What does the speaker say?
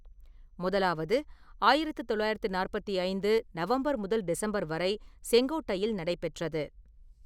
முதலாவது ஆயிரத்து தொள்ளாயிரத்து நாற்பத்தி ஐந்து நவம்பர் முதல் டிசம்பர் வரை செங்கோட்டையில் நடைபெற்றது.